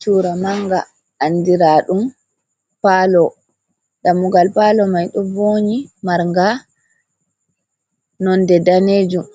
Chuura manga, andiraaɗum paalo, dammugal paalo mai ɗo voonyi, marnga nonde daneejum,